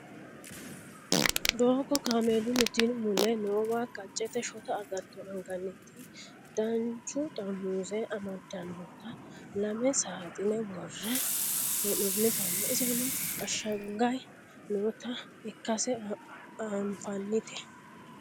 doogo kameelunnite mule noowa qaccete shota agatto anganita duucha xarmuze amaddannota lame saaxine worre hee'noonnitanna iseno ashshaganye noota ikkase anfannite